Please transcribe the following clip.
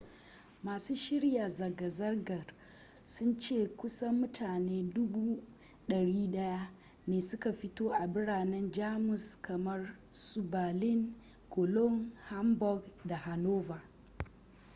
masu shirya zanga-zangar sun ce kusan mutane 100,000 ne suka fito a biranen jamus kamar su berlin cologne hamburg da hanover